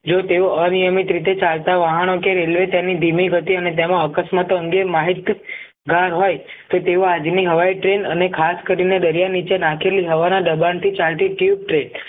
જો તેઓ અનિયમિત રીતે ચાલતા વાહનો કે રેલવે તેની ધીમી થતી અને તેમાં અકસ્માત અંગે માહિતગાર હોય તો તેઓ આજની હવાઈ train અને ખાસ કરીને દરિયા નીચે નાખેલી હવાના દબાણથી ચાલતી થી